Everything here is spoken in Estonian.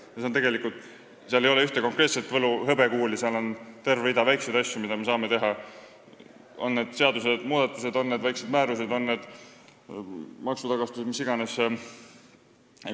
Siin ei ole tegelikult ühte konkreetset võlu- või hõbekuuli, aga on terve rida väikseid asju, mida me saaksime teha: on need seadusmuudatused, on need määrused, on need maksutagastused, mis iganes.